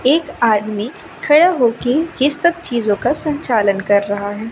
एक आदमी खड़ा होके ये सब चीजों का संचालन कर रहा है।